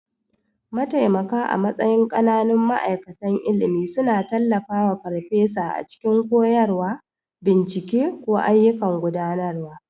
Mataimaka a matsayin ƙananun ma'aikatan ilimi suna tallafawa farfesa a cikin koyarwa, bincike, ko ayyukan gudanarwa.